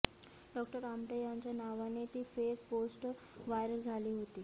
doctor Amte यांच्या नावाने ती फेक पोस्ट व्हायरल झाली होती